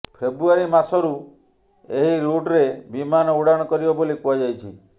ଫେବ୍ରୁଆରି ମାସରୁ ଏହି ରୁଟ୍ରେ ବିମାନ ଉଡ଼ାଣ କରିବ ବୋଲି କୁହାଯାଇଛି